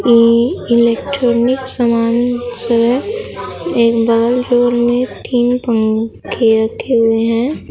ए electronic समान सब है एक बगल डोर में तीन पंखे रखे हुए हैं।